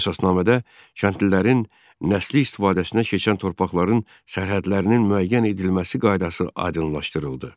Əsasnamədə kəndlilərin nəsli istifadəsinə keçən torpaqların sərhədlərinin müəyyən edilməsi qaydası aydınlaşdırıldı.